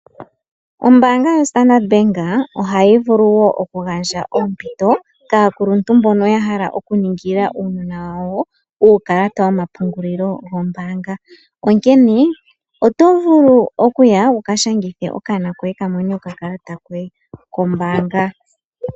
Ombaanga yoStandard bank ohayi vulu oku gandja oompito kaakuluntu mbono ya hala okuningila uunona wawo uukalata womapungulilo gombaanga onkene oto vulu okuya wuka shangithe okanona koye kamone okakalata kombaanga.